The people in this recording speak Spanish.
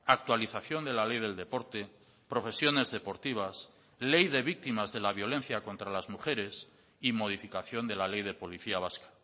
actualización de la ley del deporte profesiones deportivas ley de víctimas de la violencia contra las mujeres y modificación de la ley de policía vasca